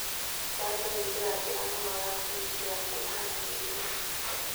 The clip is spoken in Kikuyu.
njanjo nĩ njĩra njega mũno yakwĩgitĩra kuumana na mĩrimũ